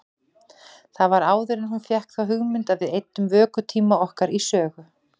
Það var áður en hún fékk þá hugmynd að við eyddum vökutíma okkar í sögu.